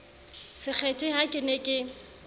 sekgethe ha ke ne ke